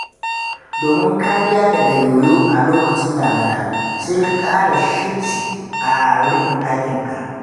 Domin kariya daga yoyo a lokacin damina, sai ka ƙara shibci a rufi ɗakinka.